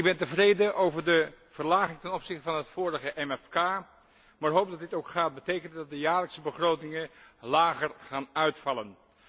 Ik ben tevreden over de verlaging ten opzichte van het vorige MFK, maar hoop dat dit ook gaat betekenen dat de jaarlijkse begrotingen lager gaan uitvallen.